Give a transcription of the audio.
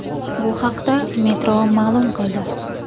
Bu haqda Metro ma’lum qildi .